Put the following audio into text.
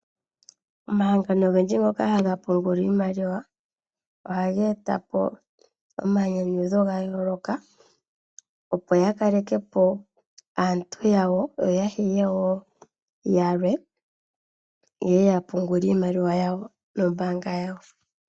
Omahangano ogendji ngoka haga pungula iimaliwa, ohaga eta po omayinyanyudho ogendji ga yooloka, opo ya kaleke po aantu yawo yo ya hile wo yalwe ye ye ya pungule iimaliwa yawo nombaanga yawo.